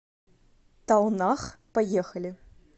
талнах поехали